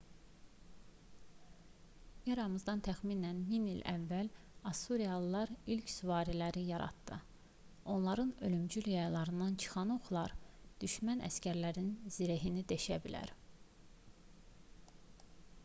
eramızdan təxminən 1000 ilə əvvəl assuriyalılar ilk süvariləri yaratdı onların ölümcül yaylarından çıxan oxlar düşmən əsgərlərinin zirehini deşə bilər